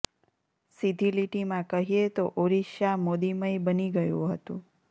સીધી લીટીમાં કહીએ તો ઓરિસ્સા મોદીમય બની ગયું હતું